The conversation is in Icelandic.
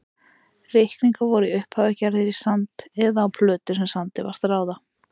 Reikningar voru í upphafi gerðir í sand eða á plötur sem sandi var stráð á.